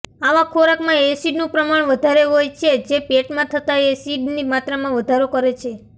આવા ખોરાકમાં એસિડનું પ્રમાણ વધારે હોય છે જે પેટમાં જતા એસિડની માત્રામાં વધારો કરે છે